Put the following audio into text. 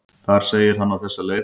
Þar segir hann á þessa leið: